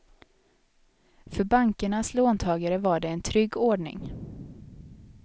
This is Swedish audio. För bankernas låntagare var det en trygg ordning.